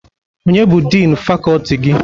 Onye bụ din fakọti gị?